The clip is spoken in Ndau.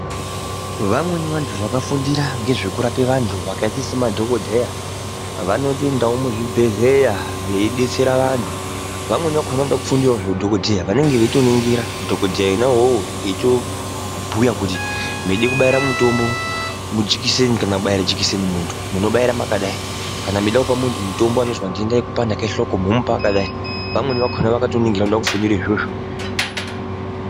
Vamweni vantu vakafundira nezvekurape vantu vakaita semadhokodheya, vanotoindawo muzvibhedhleya veidetsera vantu. Vamweni vakona vanenge veide kufundirawo zveudhokodheya, vanenga veitoningira dhokodheya wona iwowo eitobhuya kuti ndiri kubaira mutombo mujikiseni kana kubaira jekiseni muto, munobaira makadai. Kana meida kupe muntu mutombo anozwa ndenda yekupanda kehloko, munomupa makadai. Vamweni vakona vakatoningira vanoda kufundire izvozvo.